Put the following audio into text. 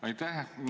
Aitäh!